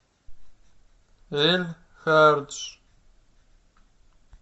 эль хардж